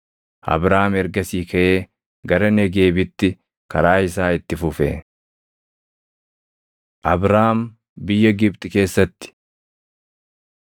Abraam ergasii kaʼee gara Negeebitti karaa isaa itti fufe. Abraam Biyya Gibxi Keessatti 12:10‑20 kwi – Uma 20:1‑18; 26:1‑11